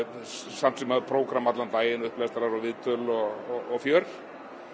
samt sem áður prógramm allan daginn upplestrar og viðtöl og fjör